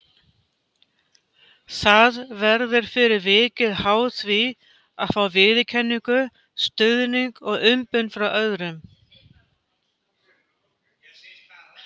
Það verður fyrir vikið háð því að fá viðurkenningu, stuðning og umbun frá öðrum.